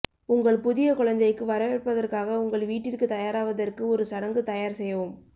உங்கள் புதிய குழந்தைக்கு வரவேற்பதற்காக உங்கள் வீட்டிற்கு தயாராவதற்கு ஒரு சடங்கு தயார் செய்யவும்